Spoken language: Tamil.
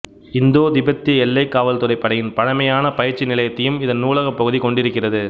இந்தோ திபெத்திய எல்லைக் காவல்துறைப் படையின் பழைமையான பயிற்சி நிலையத்தையும் இதன் நூலகப் பகுதிக் கொண்டிருக்கிறது